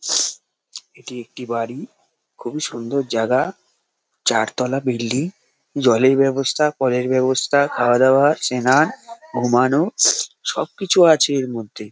এটি একটি বাড়ি খুবই সুন্দর জ্যাগা চারতলা বিল্ডিং জলের ব্যবস্থা কলের ব্যবস্থা খাওয়া দাওয়া চেনা ঘুমানোর সবকিছু আছে এর মধ্যে--